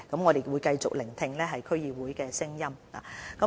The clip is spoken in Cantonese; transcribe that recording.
我們會繼續聆聽區議會的意見。